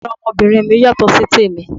Yàrá ọmọbìnrin mi yàtọ̀ sí tèmi.